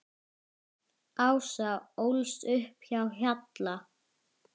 Ása ólst upp á Hjalla.